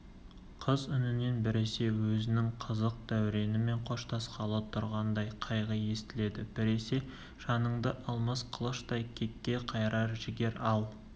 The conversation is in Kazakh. қыз үнінен біресе өзінің қызық дәуренімен қоштасқалы тұрғандай қайғы естіледі біресе жаныңды алмас қылыштай кекке қайрар жігер ал